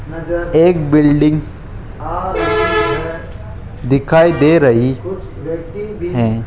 एक बिल्डिंग दिखाई दे रही है।